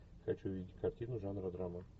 хочу видеть картину жанра драма